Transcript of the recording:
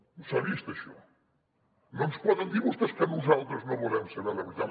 on s’ha vist això no ens poden dir vostès que nosaltres no volem saber la veritat